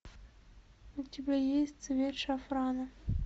у тебя есть цвет шафрана